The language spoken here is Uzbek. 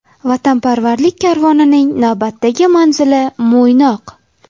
Vatanparvarlik karvonining navbatdagi manzili Mo‘ynoq.